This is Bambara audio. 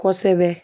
Kosɛbɛ